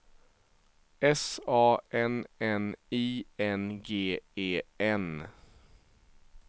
S A N N I N G E N